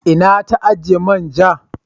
Ina ta ajiye manja?